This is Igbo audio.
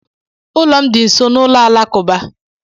Ụlọ m dị nso n'ụlọ alakụba.